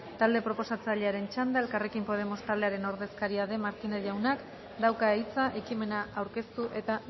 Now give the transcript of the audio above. talde proposatzailearen txanda elkarrekin podemos taldearen ordezkaria den martínez jaunak dauka hitza ekimena aurkeztu eta